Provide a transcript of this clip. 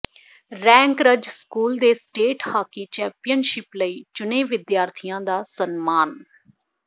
rankers school ਦੇ state hockey championship ਲਈ ਚੁਣੇ ਵਿਦਿਆਰਥੀ ਦਾ ਸਨਮਾਨ